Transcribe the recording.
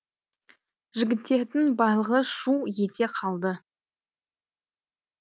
жігіттердің барлығы шу ете қалды